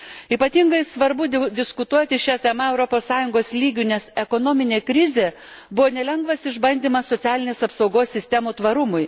Ypatingai svarbu diskutuoti šia tema Europos Sąjungos lygiu, nes ekonominė krizė buvo nelengvas išbandymas socialinės apsaugos sistemų tvarumui.